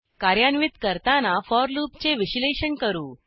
कार्यान्वित करताना फोर लूपचे विश्लेषण करू